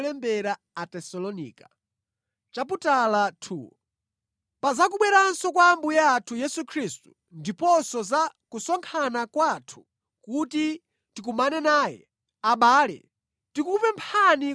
Pa za kubweranso kwa Ambuye athu Yesu Khristu ndiponso za kusonkhana kwathu kuti tikumane naye, abale, tikukupemphani